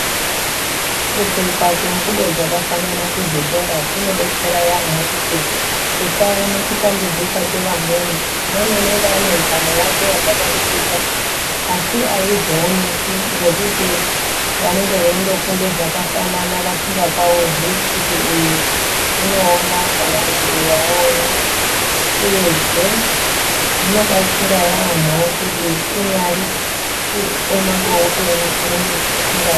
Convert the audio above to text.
Kupfeka kwengubo dzakafanana ku zvikora kunobetsera yaamho kuti tisaone kutambudzika kwevamweni umweni anenge anenhamo yake yakadarikidza asi aizooneki ngekuti vanenge veindofunda zvakafanana vasingapaurwi kuti uyu unoona kana kuti uyu haaoni uyezve zvino batsirra yamho kuti kunyari kuoma kwehupenyu........